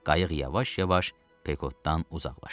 Qayıq yavaş-yavaş Pekotdan uzaqlaşdı.